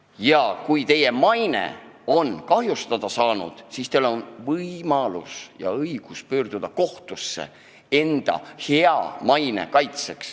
Ja kui teie maine on seejuures kahjustada saanud, siis teil on võimalus ja õigus pöörduda kohtusse, et oma head mainet kaitsta.